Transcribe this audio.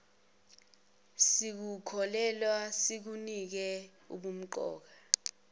sikukholelwe sikunike ubumqoka